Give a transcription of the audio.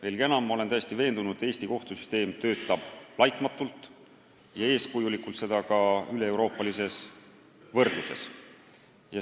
Veelgi enam, ma olen täiesti veendunud, et Eesti kohtusüsteem töötab laitmatult ja eeskujulikult, seda ka üleeuroopalises võrdluses.